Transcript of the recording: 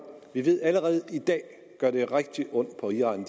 vi ved allerede i dag at det gør rigtig ondt på iran